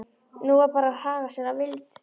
Nú var bara að haga sér að vild.